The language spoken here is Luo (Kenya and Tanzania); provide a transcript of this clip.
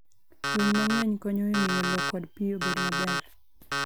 Winy mang'eny konyo e miyo lowo kod pi obed maber.